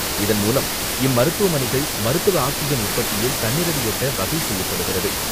இதன்மூலம், இம்மருத்துவமனைகள், மருத்துவ ஆக்சிஜன் உற்பத்தியில் தன்னிறைவை எட்ட வகை செய்யப்படுகிறது.